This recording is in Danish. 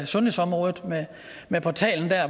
sundhedsområdet med portalen der